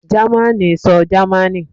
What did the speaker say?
Germani sọ Germani